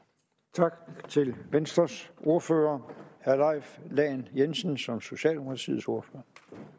tak til venstres ordfører herre leif lahn jensen som socialdemokratiets ordfører